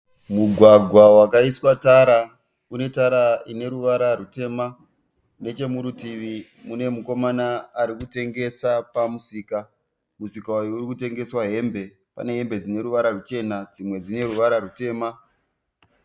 Mugwagwa wakaiswa tara. Une tara ine ruvara rutema. Neche murutivi mune mukomana ari kutengesa pamusika. Musika uyu uri kutengeswa hembe pane hembe dzine ruvara ruchena dzimwe dzine ruvara rutema.